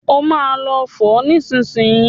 Ó máa fo nísìnyìí.